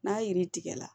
N'a yiri tigɛ la